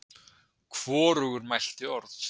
Hvorugur mælti orð.